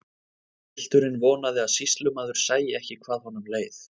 Pilturinn vonaði að sýslumaður sæi ekki hvað honum leið.